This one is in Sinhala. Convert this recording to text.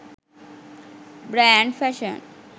brand fashion